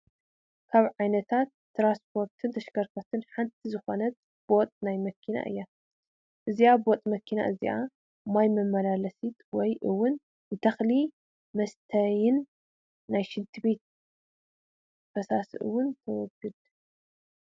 ካብ ዓይነታት ትራንስፖርትን ተሽከርከርትን ሓንቲ ዝኾነት ቦጥ ናይ ማይ እያ፡፡ እዛ ቦጥ መኪና እዚኣ ማይ መመላለሲት ወይ ውን ንተኽሊ መስተይትን ናይ ሽንት ቤት ፈሳሲ ውን ተውግድ፡